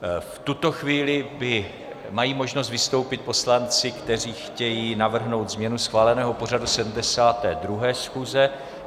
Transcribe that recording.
V tuto chvíli mají možnost vystoupit poslanci, kteří chtějí navrhnout změnu schváleného pořadu 72. schůze.